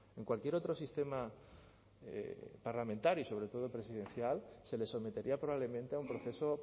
en cualquier otro sistema parlamentario y sobre todo presidencial se le sometería probablemente a un proceso